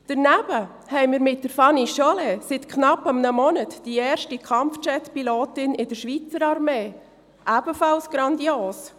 Daneben haben wir mit Fanny Chollet seit knapp einem Monat die erste Kampfjetpilotin in der Schweiz Armee, ebenfalls grandios.